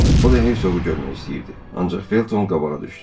O da hersoqu görmək istəyirdi, ancaq Felton qabağa düşdü.